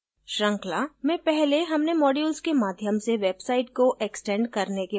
श्रृंखला में पहले हमने modules के माध्यम से website को एक्सटेंड करने के बारे में सीखा